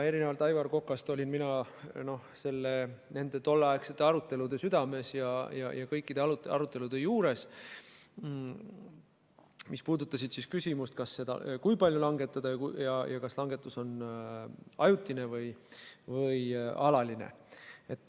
Erinevalt Aivar Kokast olin mina tolleaegsete arutelude südames, kõikide nende arutelude juures, mis puudutasid küsimust, kui palju langetada ja kas langetus on ajutine või alaline.